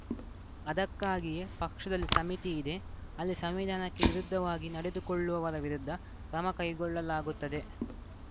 ಅದಕ್ಕಾಗಿಯೇ ಪಕ್ಷದಲ್ಲಿ ಸಮಿತಿ ಇದೆ ಅಲ್ಲಿ ಸಂವಿಧಾನಕ್ಕೆ ವಿರುದ್ಧವಾಗಿ ನಡೆದುಕೊಳ್ಳುವವರ ವಿರುದ್ಧ ಕ್ರಮ ಕೈಗೊಳ್ಳಲಾಗುತ್ತದೆ